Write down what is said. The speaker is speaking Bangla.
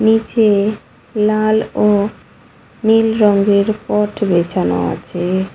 নীচে লাল ও নীল রঙের পট বেছানো আছে-এ।